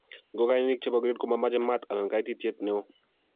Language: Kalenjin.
Ngokenik chebo grade komamache maat anan ko kaititiet neo